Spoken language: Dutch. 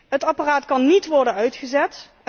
Het apparaat kan niet worden uitgezet.